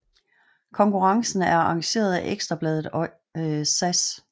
Konkurrencen er arrangeret af Ekstra Bladet og SAS